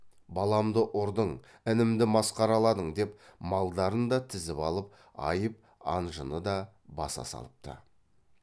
баламды ұрдың інімді масқараладың деп малдарын да тізіп алып айып анжыны да баса салыпты